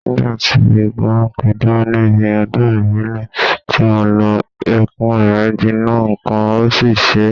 Nígbà tí eégún ń pidán níbi ọdún ìbílẹ̀ ti mo lọ, Ẹ̀kú rẹ gbiná nǹkan ò sì ṣe e